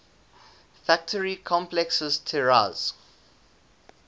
factory complexes tiraz